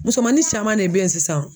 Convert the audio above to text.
Musomanin caman de bɛ ye sisan.